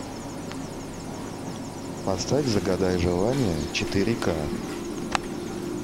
поставь загадай желание четыре ка